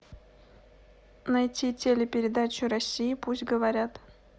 найти телепередачу россия пусть говорят